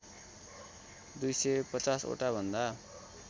२५० वटा भन्दा